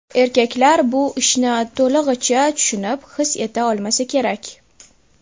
Erkaklar bu ishni to‘lig‘icha tushunib, his eta olmasa kerak.